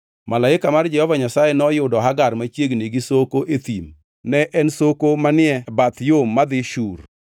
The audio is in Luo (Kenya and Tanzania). Malaika mar Jehova Nyasaye noyudo Hagar machiegni gi soko e thim; ne en soko manie bath yo madhi Shur.